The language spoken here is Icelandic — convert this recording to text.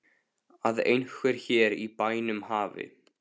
Að einhver hér í bænum hafi.